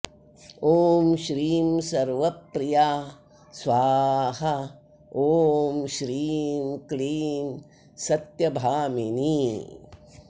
ॐ श्रीं सर्वप्रिया स्वाहा ॐ श्रीं क्लीं सत्यभामिनी